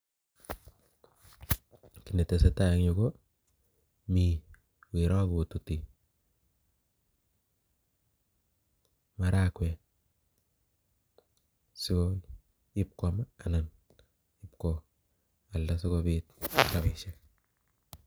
Kiy netesetai en yuu, ko mii weroo kotuti maragwek so ipwkam anan ipko alda sikobit rabishiek